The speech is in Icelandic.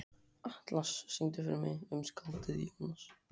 Atlas, syngdu fyrir mig „Um skáldið Jónas“.